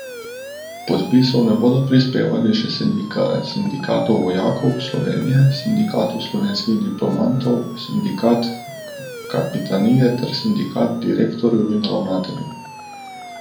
Podpisov ne bodo prispevali še Sindikat vojakov Slovenije, Sindikat slovenskih diplomatov, sindikat kapitanije ter sindikat direktorjev in ravnateljev.